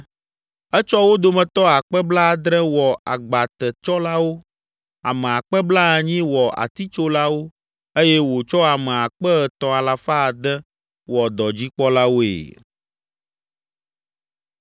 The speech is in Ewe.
Etsɔ wo dometɔ akpe blaadre (70,000) wɔ agbatetsɔlawo, ame akpe blaenyi (80,000) wɔ atitsolawo eye wòtsɔ ame akpe etɔ̃ alafa ade (3,600) wɔ dɔdzikpɔlawoe.